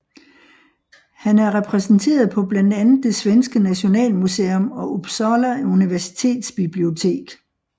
Han er repræsenteret på blandt andet det svenske Nationalmuseum og Uppsala Universitetsbibliotek